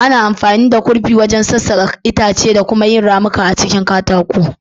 Ana amfani da kurfi wajen sassaka itace da kuma yin ramuka a cikin katako.